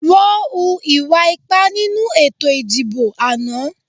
Wọ́n hu ìwà ipá nínú ètò ìdìbò àná